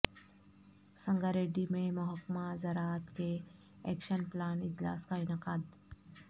سنگاریڈی میں محکمہ زراعت کے ایکشن پلان اجلاس کا انعقاد